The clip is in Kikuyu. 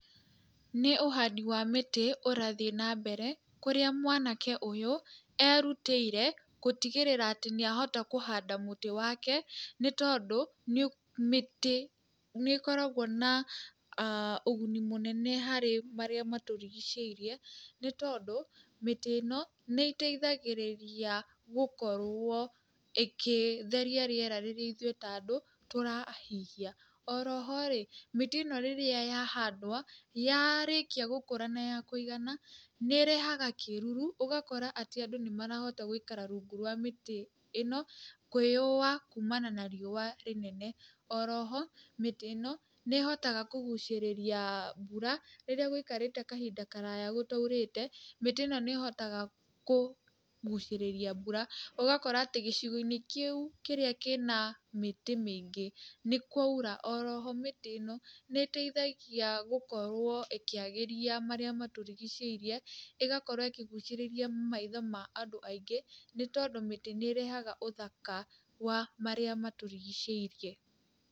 Nĩ ũhandi wa mĩtĩ ũrathiĩ na mbere, kũrĩa mwanake ũyũ erũtĩire gũtigĩrĩra atĩ nĩ ahota kũhanda mũtĩ wake, nĩ tondũ mĩtĩ nĩ ĩkoragwo na ũguni mũnene harĩ marĩa matũrigicĩirie, nĩ tondũ, mĩtĩ ĩno nĩ ĩteithagĩrĩria gũkorwo ĩkĩtheria rĩera rĩrĩa ithuĩ ta andũ tũrahihia. Oroho rĩ, mĩtĩ ĩno rĩrĩa ya handwo, yarĩkia gũkũra na yakũigana, nĩ ĩrehaga kĩruru, ũgakora atĩ andũ nĩ marahota gũikara rungu rwa mĩtĩ ĩno, kũĩyũwa kuumana na riũa rĩnene. Oroho, mĩtĩ ĩno, nĩ ĩhotaga kũgucĩrĩria mbura rĩrĩa gũikarĩte kahinda karaya gũtaurĩte, mĩtĩ ĩno nĩ ĩhotaga kũgucĩríria mbura, ũgakora atĩ gĩcigo-inĩ kĩu kĩrĩa kĩna mĩtĩ mĩingĩ nĩ kwaura oroho mĩtĩ ĩno nĩ ĩteithagia gũkorwo ĩkĩagĩria marĩa matũrigicĩirie, ĩgakorwo ĩkĩgucĩrĩrria maitho ma andũ aingĩ nĩ tondũ mĩti nĩ ĩrehaga ũthaka wa marĩa matũrigicĩirie.